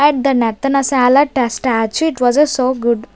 Had the Narthanashala statue it was a so good.